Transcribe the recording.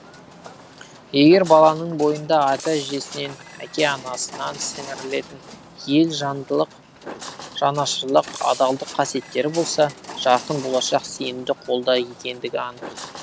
егер баланың бойында ата әжесінен әке анасынан сіңірілетін ел жандылық жанашырлық адалдық қасиеттері болса жарқын болашақ сенімді қолда екендігі анық